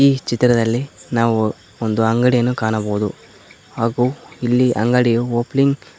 ಈ ಚಿತ್ರದಲ್ಲಿ ನಾವು ಒಂದು ಅಂಗಡಿಯನ್ನು ಕಾಣಬಹುದು ಹಾಗೂ ಇಲ್ಲಿ ಅಂಗಡಿಯೂ ಓಪನಿಂಗ್ --